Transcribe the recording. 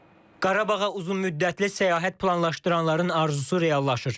Qarabağa uzunmüddətli səyahət planlaşdıranların arzusu reallaşır.